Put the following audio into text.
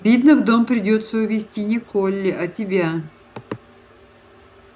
видно в дом придётся увести не колли а тебя